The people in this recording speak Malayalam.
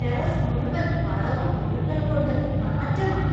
ടെറസ് മുഴുവന്‍ വളവും പുഴുക്കളും കൊണ്ട് നാറ്റമാണ്.